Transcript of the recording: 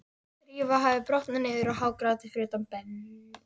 Drífa hafði brotnað niður og hágrátið fyrir utan brenn